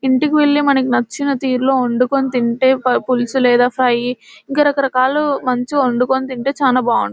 ఇంటికి వెళ్లి మనకు నచ్చిన తీరులో వండుకుని తింటే పులుసు లేదా ఫ్రై ఇంకా రకాలు మంచిగా వండుకొని తింటే చాలా బాగుం --